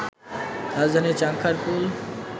রাজধানীর চানখাঁরপুল